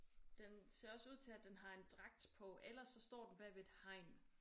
Den ser også ud til at den har en dragt på ellers så står den bagved et hegn